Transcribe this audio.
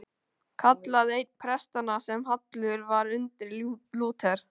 kallaði einn prestanna sem hallur var undir Lúter.